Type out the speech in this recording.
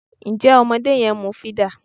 Ǹjẹ́ ọmọdé yẹn ń mú fídà?